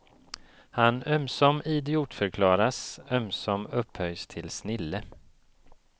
Han ömsom idiotförklaras, ömsom upphöjs till snille.